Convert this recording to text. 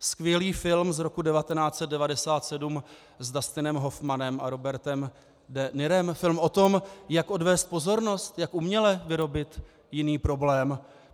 Skvělý film z roku 1997 s Dustinem Hoffmanem a Robertem de Nirem, film o tom, jak odvést pozornost, jak uměle vyrobit jiný problém.